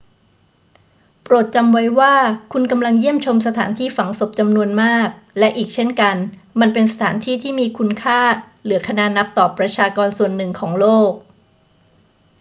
โปรดจำไว้ว่าคุณกำลังเยี่ยมชมสถานที่ฝังศพจำนวนมาก และอีกเช่นกัน มันเป็นสถานที่ที่มีคุณค่าเหลือคณานับต่อประชากรส่วนหนึ่งของโลก